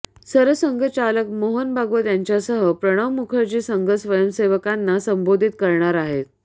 सरसंघचालक मोहन भागवत यांच्यासह प्रणव मुखर्जी संघ स्वयंसेवकांना संबोधित करणार आहेत